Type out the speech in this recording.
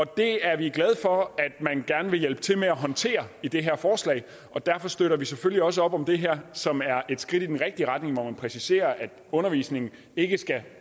det er vi glade for at man gerne vil hjælpe til med at håndtere i det her forslag og derfor støtter vi selvfølgelig også op om det her som er et skridt i den rigtige retning og hvor det præciseres at undervisningen ikke skal